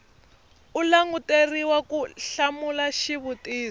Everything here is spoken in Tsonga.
u languteriwa ku hlamula xivutiso